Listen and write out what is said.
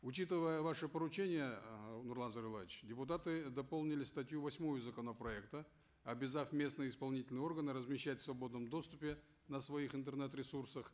учитывая ваше поручение э нурлан зайроллаевич депутаты дополнили статью восьмую законопроекта обязав местные исполнительные органы размещать в свободном доступе на своих интернет ресурсах